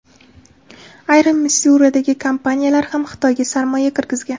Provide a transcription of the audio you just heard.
Ayrim Missuridagi kompaniyalar ham Xitoyga sarmoya kirgizgan.